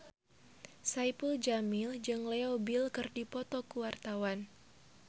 Saipul Jamil jeung Leo Bill keur dipoto ku wartawan